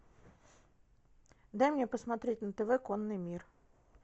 дай мне посмотреть на тв конный мир